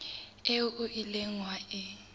eo o ileng wa e